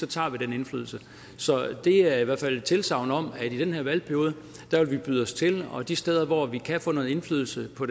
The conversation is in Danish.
tager vi den indflydelse så det er i hvert fald et tilsagn om at vi i den her valgperiode vil byde os til og de steder hvor vi kan få noget indflydelse på